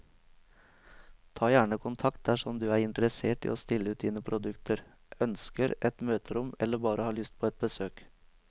Ta gjerne kontakt dersom du er interessert i å stille ut dine produkter, ønsker et møterom eller bare har lyst på et besøk.